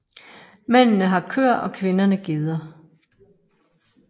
Mændene har køer og kvinderne geder